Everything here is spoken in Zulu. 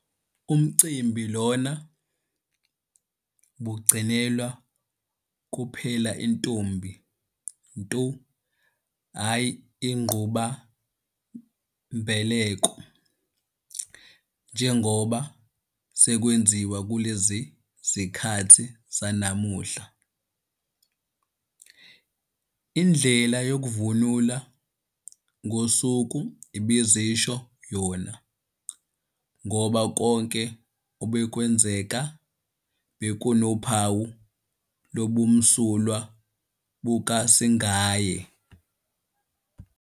Umcimbi Iona ubugcinelwa kuphela intombi nto hhayi igqabulambeleko njengoba sekwenziwa kulezi zikhathi zanamuhla. Indlela yokuvunula ngosuku ibizisho yona ngoba konke obekwenzeka bekunophawu lobumsulwa bukasingaye.